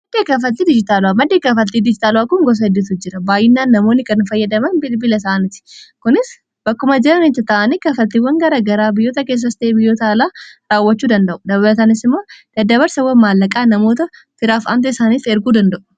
Madda kaffaltii dijitaalawaa, maddii kaafaltii dijitaalawaa kun gosa hedduutu jira. Baay'inaan namoonni kan fayyadaman bilbila isaaniti. Kunis bakkuma jiran ta'anii kaffaltiiwwan gara garaa biyyoota keessattii fi biyyoota alaa raawwachuu danda'u. Dabalatanis immoo daddabarsawwan maallaqaa namoota firaaf anti isaaniif erguu danda'u.